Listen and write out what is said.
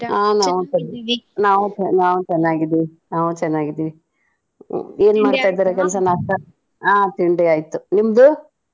ಹಾ ನಾವುಸ ನಾವು ಚೆನ್ನಾಗಿದ್ದೇವೆ ನಾವು ಚೆನ್ನಾಗಿದ್ದೀವಿ ಹ್ಮ್ ಕೆಲ್ಸ ನಾಷ್ಟಾ? ಹಾ ತಿಂಡಿ ಆಯ್ತು ನಿಮ್ದು?